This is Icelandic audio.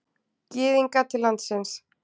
Gyðinga til landsins.